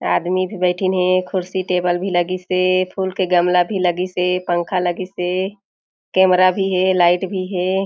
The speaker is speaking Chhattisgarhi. आदमी भी बठिन हे खुर्सी टेबल भी लगिस हे फूल के गमला भी लगिस हे पंखा लगिस हे कैमरा भी हे लाइट भी हे।